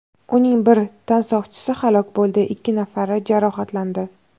Uning bir tansoqchisi halok bo‘ldi, ikki nafari jarohatlandi.